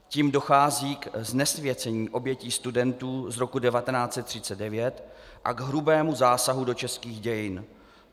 Tím dochází k znesvěcení obětí studentů z roku 1939 a k hrubému zásahu do českých dějin.